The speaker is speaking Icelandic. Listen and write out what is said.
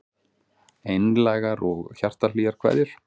Einlægar og hjartahlýjar kveðjur